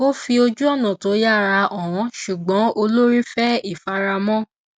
ó fi ojúọnà tó yára hàn ṣùgbọn olórí fẹ ìfaramọ